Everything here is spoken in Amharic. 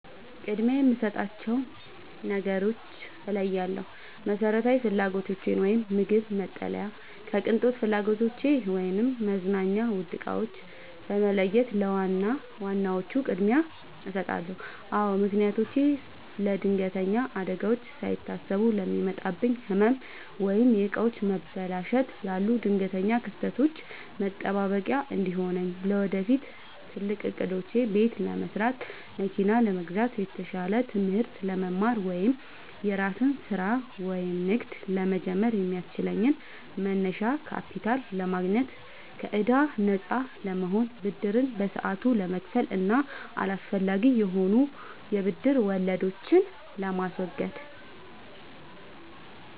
ቅድሚያ የምሰጣቸውን ነገሮች እለያለሁ፦ መሰረታዊ ፍላጎቶቼን (ምግብ፣ መጠለያ) ከቅንጦት ፍላጎቶቼ (መዝናኛ፣ ውድ ዕቃዎች) በመለየት ለዋና ዋናዎቹ ቅድሚያ እሰጣለሁ። አዎ ምክንያቶቼም ለለድንገተኛ አደጋዎች፦ ሳይታሰቡ ለሚመጣብኝ ህመም፣ ወይም የዕቃዎች መበላሸት ላሉ ድንገተኛ ክስተቶች መጠባበቂያ እንዲሆነኝ። ለወደፊት ትልቅ ዕቅዶቼ፦ ቤት ለመስራት፣ መኪና ለመግዛት፣ የተሻለ ትምህርት ለመማር ወይም የራስን ስራ/ንግድ ለመጀመር የሚያስችለኝን መነሻ ካፒታል ለማግኘት። ከከዕዳ ነፃ ለመሆን፦ ብድርን በሰዓቱ ለመክፈል እና አላስፈላጊ የሆኑ የብድር ወለዶችን ለማስወገድ።